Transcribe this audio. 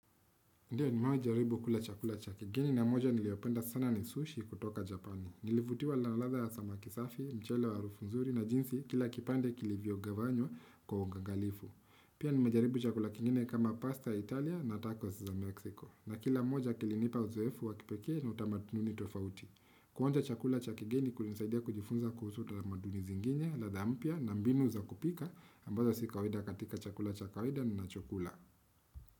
Ndio ni mewahi jaribu kula chakula cha kigeni na moja niliopenda sana ni sushi kutoka Japani. Nilivutiwa na ladha ya sama kisafi, mchele wa harufu nzuri na jinsi kila kipande kilivyo gawanywa kwa uangagalifu. Pia ni mejaribu chakula kingine kama pasta ya Italia na tacos za Meksiko. Na kila moja kilinipa uzoefu wa kipekee na utamaduni tofauti. Kuonja chakula cha kigeni kulinisaidia kujifunza kuhusu talamaduni zinginye la dha mpya na mbinu za kupika ambazo si kawaida katika chakula chakawaida ninachokula.